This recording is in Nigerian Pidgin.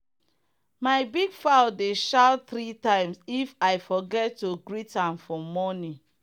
my big fowl dey shout three times if i forget to greet am for morning.